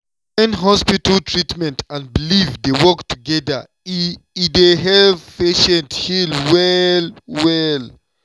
wen hospital treatment and belief dey work together e e dey help patient heal well-well.